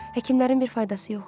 Həkimlərin bir faydası yox idi.